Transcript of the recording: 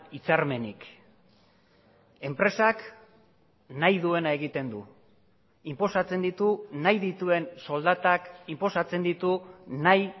hitzarmenik enpresak nahi duena egiten du inposatzen ditu nahi dituen soldatak inposatzen ditu nahi